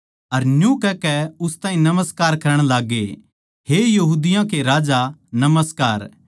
अर न्यू कहकै उस ताहीं नमस्कार करण लाग्गे हे यहूदियों के राजा नमस्कार